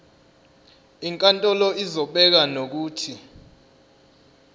inkantolo izobeka nokuthi